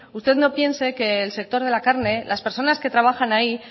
las personas que trabajan ahí